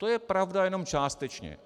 To je pravda jenom částečně.